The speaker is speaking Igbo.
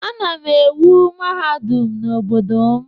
Ana m ewu mahadum n'obodo m